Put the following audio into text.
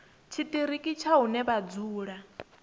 tshiṱiriki tsha hune vha dzula